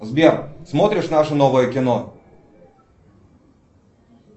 сбер смотришь наше новое кино